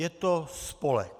Je to spolek.